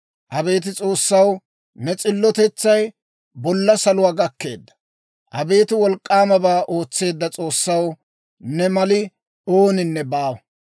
Abeet S'oossaw, ne s'illotetsay, bolla saluwaa gakkeedda. Abeet wolk'k'aamabaa ootseedda S'oossaw, ne mali ooninne baawa.